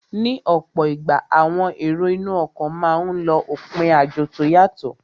Ní ọ̀pọ̀ ìgbà, àwọn èrò inú ọkọ̀ máa n lọ òpin àjò tó yàtọ